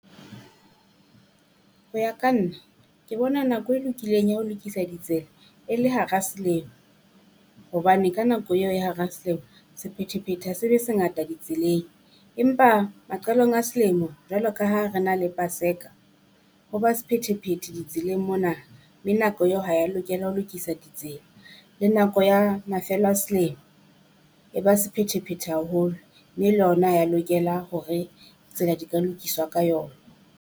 Ho ya ka nna ke bona nako e lokileng ya ho lokisa di tsela e le hara selemo, hobane ka nako eo e hara selemo sephethephethe ha se be ngata di tseleng. Empa maqalong a selemo jwalo ka ha re na le Paseka ho ba sephethephethe di tseleng mona, mme nako eo ha ya lokela ho lokisa ditsela, le nako ya mafelo a selemo e ba sephethephethe haholo mme le ona ha ya lokela hore tsena di ka lokiswa ka yona.